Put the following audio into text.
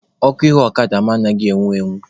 Ọkụ ihu ọkada mụ anaghị enwu enwu.